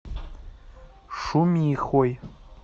шумихой